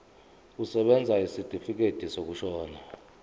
kusebenza isitifikedi sokushona